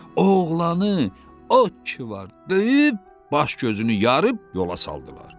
Oğlanı od ki var döyüb, baş-gözünü yarıb yola saldılar.